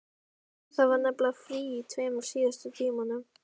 Það var nefnilega frí í tveimur síðustu tímunum.